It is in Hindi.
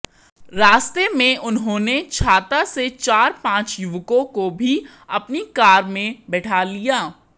रास्ते में उन्होंने छाता से चार पांच युवकों को भी अपनी कार में बैठा लिया